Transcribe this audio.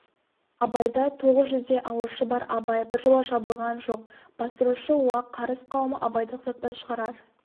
абайды тоғыз жүздей алушы бар абай біржола жабылған жоқ бастырушы уақ қарыз қауымы абайды тоқтатпас шығарар